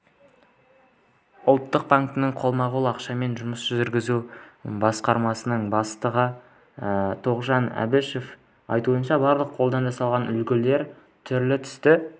ұлттық банктің қолма-қол ақшамен жұмыс жүргізу басқармасының бастығы тоғжан әбішеваның айтуынша барлық қолдан жасалған үлгілер түрлі-түсті